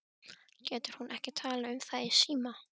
Getur hún ekki talað um það í síma?